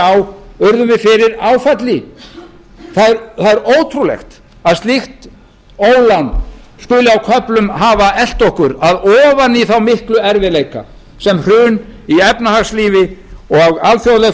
á urðum við fyrir áfalli það er ótrúlegt að slíkt ólán skuli á köflum hafa elt okkur að ofan í þá miklu erfiðleika sem hrun í efnahagslífi og alþjóðleg